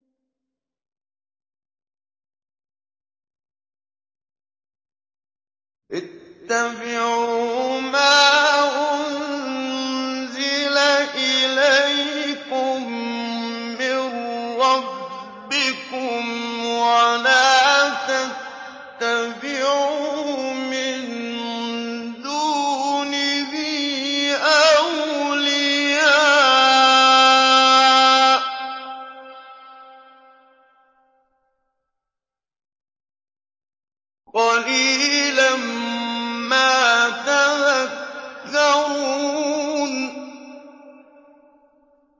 اتَّبِعُوا مَا أُنزِلَ إِلَيْكُم مِّن رَّبِّكُمْ وَلَا تَتَّبِعُوا مِن دُونِهِ أَوْلِيَاءَ ۗ قَلِيلًا مَّا تَذَكَّرُونَ